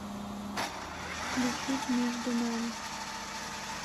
включить между нами